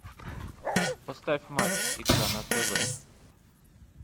поставь матч игра на тв